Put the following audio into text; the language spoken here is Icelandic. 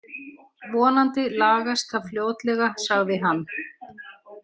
Vonandi lagast það fljótlega sagði hann.